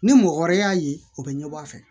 Ni mɔgɔ wɛrɛ y'a ye o bɛ ɲɛbɔ a fɛ